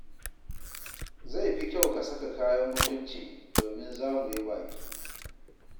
Zai fi kyau ka saka kayan mutunci domin za muyi baƙi.